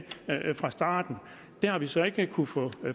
fra starten det har vi så ikke kunnet få